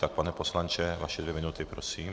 Tak, pane poslanče, vaše dvě minuty, prosím.